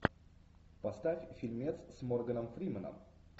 поставь фильмец с морганом фрименом